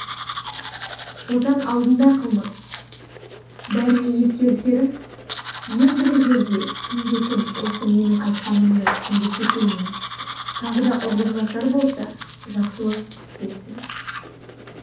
отан алдында қылмыс бәріңе ескертерім ендігі жерде кімде-кім осы менің айтқанымды түсінгісі келмей тағы да ұрлық жасар болса жақсылық күтпесін